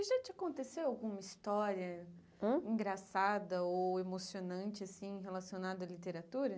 E já te aconteceu alguma história Hã engraçada ou emocionante, assim, relacionada à literatura?